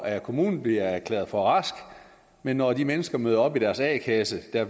af kommunen bliver erklæret for rask men når de mennesker møder op i deres a kasse bliver